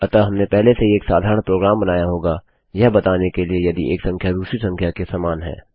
अतः हमने पहले से ही एक साधारण प्रोग्राम बनाया होगा यह बताने के लिए यदि एक संख्या दूसरी संख्या के समान है